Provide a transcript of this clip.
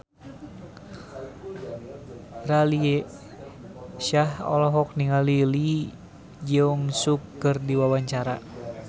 Raline Shah olohok ningali Lee Jeong Suk keur diwawancara